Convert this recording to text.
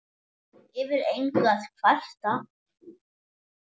Yfir engu að kvarta.